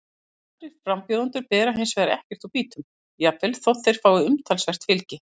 Aðrir frambjóðendur bera hins vegar ekkert úr býtum, jafnvel þótt þeir fái umtalsvert fylgi.